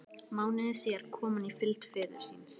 Mánuði síðar kom hann í fylgd föður síns.